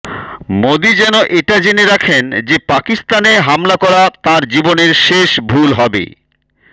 মোদী যেন এটা জেনে রাখেন যে পাকিস্তানে হামলা করা তাঁর জীবনের শেষ ভুল হবে